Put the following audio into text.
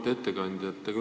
Auväärt ettekandja!